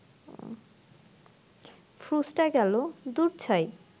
ফ্রুসটা গেল, দূর ছাই